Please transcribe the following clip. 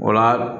O la